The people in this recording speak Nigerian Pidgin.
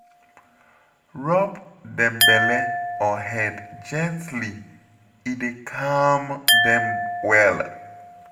Rub dem belle or head gently, e dey calm dem well